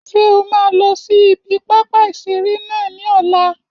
Ṣé o máa lọ sí ibi pápá ìseré náà ní ọ̀la?